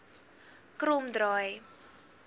kromdraai